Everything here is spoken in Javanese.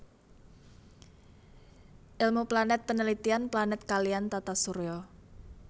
Ilmu Planet penelitian Planet kaliyan Tata Surya